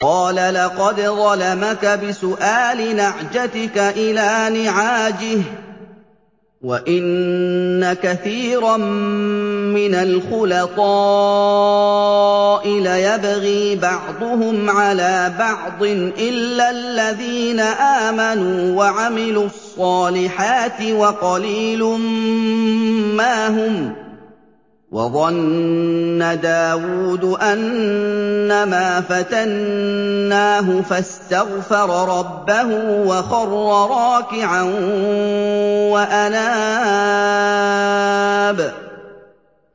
قَالَ لَقَدْ ظَلَمَكَ بِسُؤَالِ نَعْجَتِكَ إِلَىٰ نِعَاجِهِ ۖ وَإِنَّ كَثِيرًا مِّنَ الْخُلَطَاءِ لَيَبْغِي بَعْضُهُمْ عَلَىٰ بَعْضٍ إِلَّا الَّذِينَ آمَنُوا وَعَمِلُوا الصَّالِحَاتِ وَقَلِيلٌ مَّا هُمْ ۗ وَظَنَّ دَاوُودُ أَنَّمَا فَتَنَّاهُ فَاسْتَغْفَرَ رَبَّهُ وَخَرَّ رَاكِعًا وَأَنَابَ ۩